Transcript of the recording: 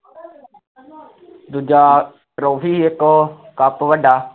ਦੂਜਾ trophy ਸੀ ਇੱਕ ਸਭ ਤੋਂ ਵੱਡਾ